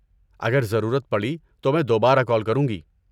اگر ضرورت پڑی تو میں دوبارہ کال کروں گی۔